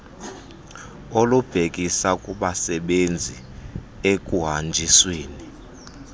olubhekisa kubasebenzisi ekuhanjisweni